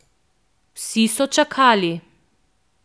Vsi so čakali.